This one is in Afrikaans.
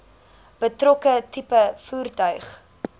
betrokke tipe voertuig